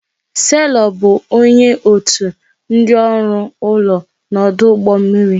Selọ bụ onye otu ndị ọrụ ụlọ n'ọdụ ụgbọ mmiri